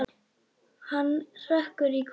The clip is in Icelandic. Hann hrekkur í kút.